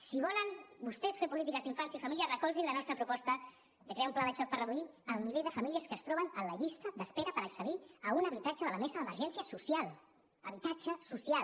si volen vostès fer polítiques d’infància i família recolzin la nostra proposta de crear un pla de xoc per reduir el miler de famílies que es troben en llista d’espera per accedir a un habitatge de la mesa d’emergència social habitatge social